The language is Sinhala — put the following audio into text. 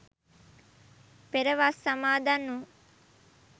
පෙර වස් සමාදන් වූ